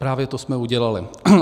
Právě to jsme udělali.